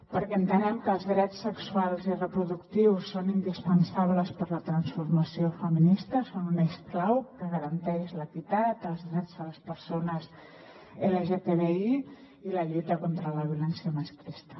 perquè entenem que els drets sexuals i reproductius són indispensables per a la transformació feminista són un eix clau que garanteix l’equitat els drets de les persones lgtbi i la lluita contra la violència masclista